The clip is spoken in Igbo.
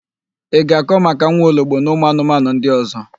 Ị ga-akọ maka nwaologbo na ụmụanụmanụ ndị ọ̀zọ́?